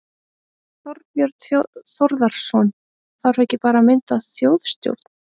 Þorbjörn Þórðarson: Þarf ekki bara að mynda þjóðstjórn?